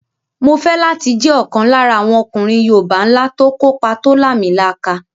Mo fẹ́ láti jẹ́ ọ̀kan lára àwọn ọkùnrin yoòbá ńlá tó kópa tó làmìlaka